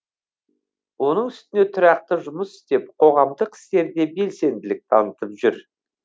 оның үстіне тұрақты жұмыс істеп қоғамдық істерде белсенділік танытып жүр